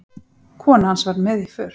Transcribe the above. Kona hans var með í för.